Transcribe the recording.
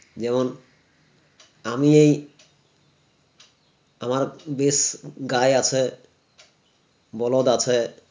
যেমন আমি এই আমার বেশ গাঁই আছে বলদ আছে